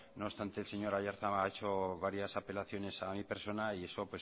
no obstante el señor aiartza ha hecho varias apelaciones a mi persona y esto